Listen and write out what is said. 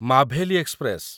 Maveli express